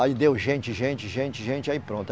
Aí deu gente, gente, gente, gente, aí pronto.